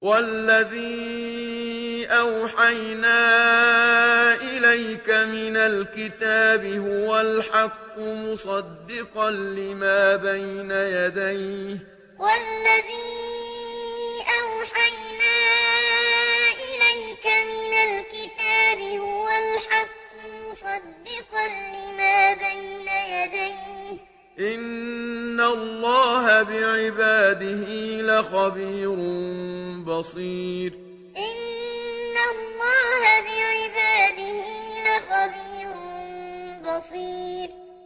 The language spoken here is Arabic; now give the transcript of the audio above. وَالَّذِي أَوْحَيْنَا إِلَيْكَ مِنَ الْكِتَابِ هُوَ الْحَقُّ مُصَدِّقًا لِّمَا بَيْنَ يَدَيْهِ ۗ إِنَّ اللَّهَ بِعِبَادِهِ لَخَبِيرٌ بَصِيرٌ وَالَّذِي أَوْحَيْنَا إِلَيْكَ مِنَ الْكِتَابِ هُوَ الْحَقُّ مُصَدِّقًا لِّمَا بَيْنَ يَدَيْهِ ۗ إِنَّ اللَّهَ بِعِبَادِهِ لَخَبِيرٌ بَصِيرٌ